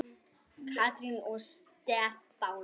Katrín og Stefán.